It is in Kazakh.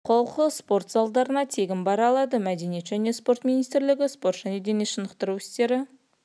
ауыл халқы спорт залдарына тегін бара алады мәдениет және спорт министрлігі спорт және дене шынықтыру істері